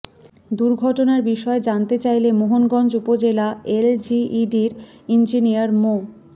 দুর্ঘটনার বিষয়ে জানতে চাইলে মোহনগঞ্জ উপজেলা এলজিইডির ইঞ্জিনিয়ার মো